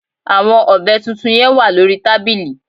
Àwon ọ̀bẹ tuntun yen wà lórí tábìlì